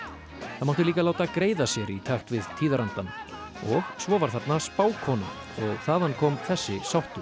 það mátti líka láta greiða sér í takt við tíðarandann og svo var þarna spákona og þaðan kom þessi sáttur